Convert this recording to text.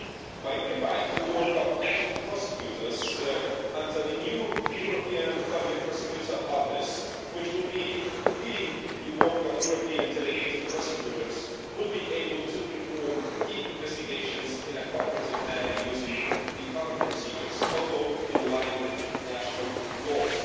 By unifying the work of national prosecutors under the new European Public Prosecutor's Office, which will be leading the work of European delegated prosecutors, they will be able to perform investigations in a cooperative manner using the common procedures and remaining in line with national laws.